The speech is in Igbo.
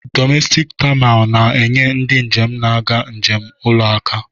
Domestik taminal na-enye ndị njem na-aga njem ụlọ aka.